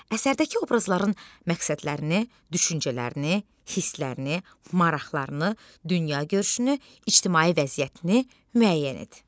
Əsərdəki obrazların məqsədlərini, düşüncələrini, hisslərini, maraqlarını, dünyagörüşünü, ictimai vəziyyətini müəyyən et.